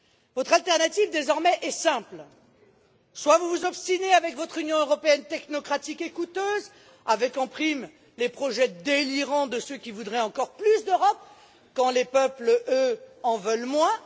Votre alternative désormais est simple soit vous vous obstinez avec votre Union européenne technocratique et coûteuse avec, en prime, les projets délirants de ceux qui voudraient encore plus d'Europe, quand les peuples, eux, en veulent moins.